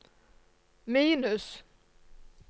minus